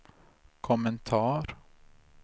kommentar